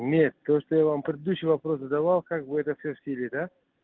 у меня то что я вам предыдущий вопрос задавал как бы это все в силе да